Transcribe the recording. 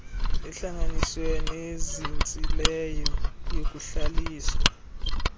ehlanganisiweyo nezinzileyo yokuhlalisa